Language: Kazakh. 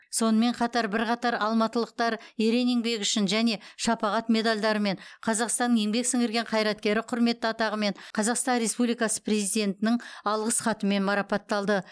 сонымен қатар бірқатар алматылықтар ерен еңбегі үшін және шапағат медальдарымен қазақстанның еңбек сіңірген қайраткері құрметті атағымен қазақстан республикасы президентінің алғыс хатымен марапатталды